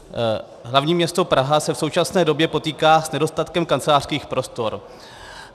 Hlavní město Praha se v současné době potýká s nedostatkem kancelářských prostor.